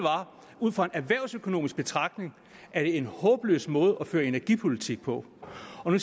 ud fra en erhvervsøkonomisk betragtning er det en håbløs måde at føre energipolitik på fru